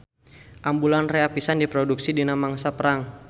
Ambulan rea pisan diproduksi dina mangsa perang.